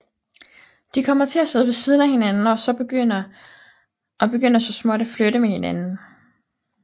De kommer til at sidde ved siden af hinanden og begynder så småt at flirte med hinanden